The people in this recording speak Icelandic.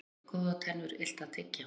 Oft hljóta góðar tennur illt að tyggja.